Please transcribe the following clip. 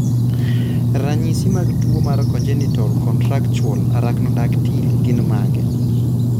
Ranyisi mag tuwo mar congenital contractural arachnodactyly gin mage?